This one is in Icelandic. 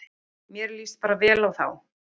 Mér líst bara vel á þá